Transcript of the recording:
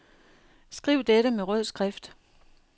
Skriv dette med rød skrift.